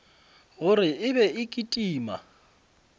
gore e be e kitima